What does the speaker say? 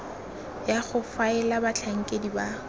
ya go faela batlhankedi ba